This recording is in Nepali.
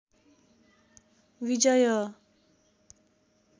विजय